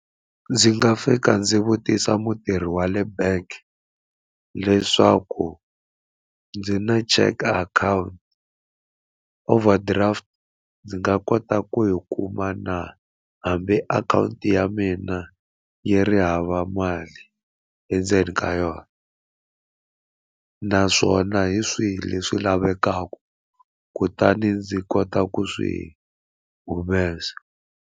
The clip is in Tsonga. Ndzi nga fika ndzi vutisa mutirhi wa le bank leswaku ndzi na check akhawunti overdraft ndzi nga kota ku yi kuma na hambi akhawunti ya mina yi ri hava mali endzeni ka yona naswona hi swihi leswi lavekaka kutani ndzi kota ku swi humesa.